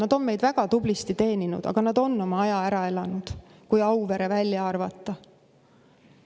Nad on meid väga tublisti teeninud, aga nad on oma aja ära elanud, kui Auvere välja arvata.